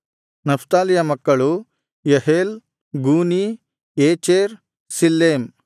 ನಫ್ತಾಲಿಯ ಮಕ್ಕಳು ಯಹೇಲ್ ಗೂನೀ ಯೇಚೆರ್ ಶಿಲ್ಲೇಮ್